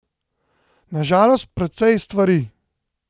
Na žalost precej stvari.